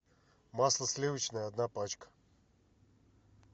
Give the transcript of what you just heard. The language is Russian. масло сливочное одна пачка